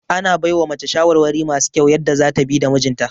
Ana baiwa mace shawarwari masu kyau yadda zata bi da mijinta